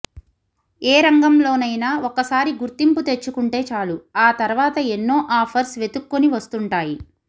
ఏ రంగంలోనైనా ఒకసారి గుర్తింపు తెచ్చుకుంటే చాలు ఆ తర్వాత ఎన్నో ఆఫర్స్ వెతుక్కొని వస్తుంటాయి